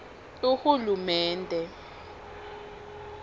ahulumende